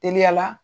Teliya la